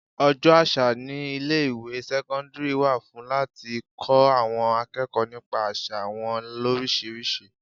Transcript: Ọjọ́ àṣà ní ilé ìwé sẹ́cọ́ndírì wà fún láti kọ́ àwọn akẹ́kọ̀ọ́ nípa àsà wọn lorisirisi.